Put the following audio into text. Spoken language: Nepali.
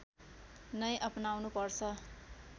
नै अपनाउनु पर्छ